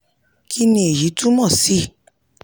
kí ni èyí túmọ̀ sí?